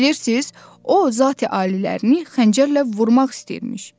Bilirsiniz, o zat alilərini xəncərlə vurmaq istəyirmiş.